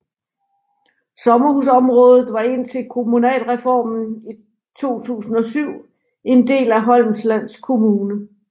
Sommerhusområdet var indtil kommunalreformen i 2007 en del af Holmsland Kommune